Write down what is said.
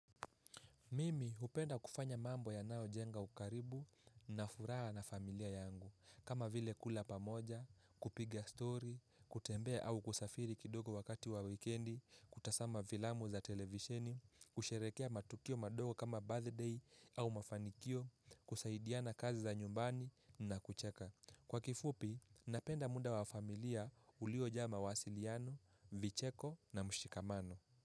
Mimi hupenda kufanya mambo yanayo jenga ukaribu na furaha na familia yangu kama vile kula pamoja, kupiga story, kutembea au kusafiri kidogo wakati wa wikendi, kutazama filamu za televisheni, kusherehekea matukio madogo kama birthday au mafanikio, kusaidiana kazi za nyumbani na kucheka. Kwa kifupi, napenda muda wa familia uliojaa mawasiliano, vicheko na mshikamano.